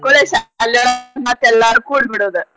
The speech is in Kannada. ಶಾಲಿ ಒಳ್ಗ ಮತ್ತೆಲ್ಲಾರು ಕೂಡ್ ಬಿಡೋದ.